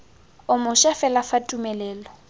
o moša fela fa tumelelo